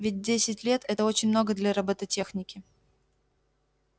ведь десять лет это очень много для роботехники